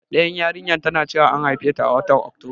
Ɗayar yarinyar tana cewa an haifeta a watan Oktoba.